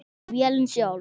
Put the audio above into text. Vélin sjálf